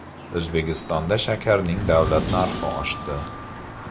O‘zbekistonda shakarning davlat narxi oshdi.